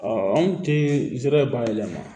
anw tɛ zere ye bayɛlɛma